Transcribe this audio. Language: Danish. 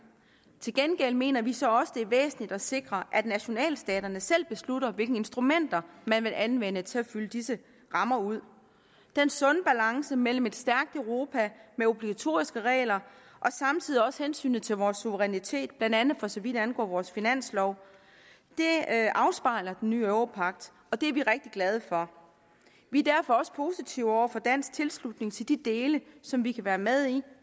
til gengæld mener vi så også at det er væsentligt at sikre at nationalstaterne selv beslutter hvilke instrumenter man vil anvende til at fylde disse rammer ud den sunde balance mellem et stærkt europa med obligatoriske regler og samtidig også hensynet til vores suverænitet blandt andet for så vidt angår vores finanslov afspejler den nye europagt og det er vi rigtig glade for vi er derfor også positive over for dansk tilslutning til de dele som vi kan være med i